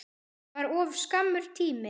Það var of skammur tími.